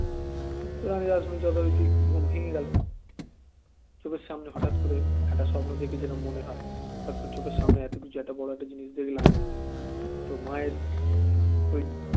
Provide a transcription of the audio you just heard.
এবং রাসমনি যথারীতি ঘুম ভেঙে গেল চোখের সামনে হঠাৎ করে একটা স্বপ্ন দেখে জেরম মনে হয় হটআত করে চোখের সামনে এত কিছু একটা বড় একটা জিনিস দেখলাম তো মায়ের ওই